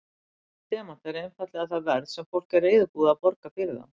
Raunvirði demanta er einfaldlega það verð sem fólk er reiðubúið að borga fyrir þá.